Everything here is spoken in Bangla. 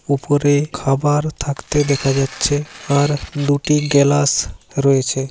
উপরে খাবার থাকতে দেখা যাচ্ছে আর দুটি গেলাস রয়েছে।